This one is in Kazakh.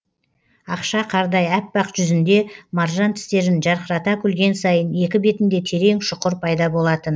ақша қардай аппақ жүзінде маржан тістерін жарқырата күлген сайын екі бетінде терең шұқыр пайда болатын